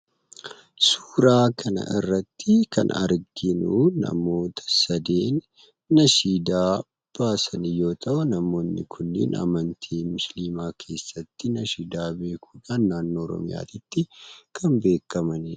Suuraa kana irratti kan arginuu, namoota sadiin nashiidaa baasan yoo ta'u, namoonni kunniin amantii musliimaa keessatti nashiidaa beekuudhaan naannoo Oromiyaatti kan beekkamanidha.